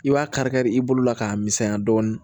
I b'a kari kari i bolo la k'a misɛnya dɔɔnin